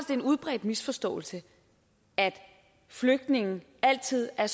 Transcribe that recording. en udbredt misforståelse at flygtninge altid er